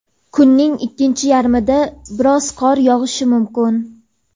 kunning ikkinchi yarmida biroz qor yog‘ishi mumkin.